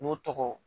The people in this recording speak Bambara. N'o tɔgɔ